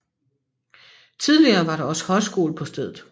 Tidligere var der også højskole på stedet